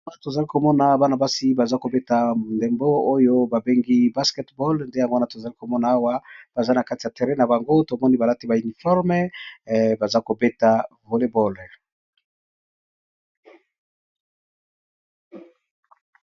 Awa na tozali komona bana basi baza kobeta ndembo oyo babengi basketball nde yango wana tozali komona awa baza na kati ya terre na bango tomoni balati bauniforme baza kobeta volleyball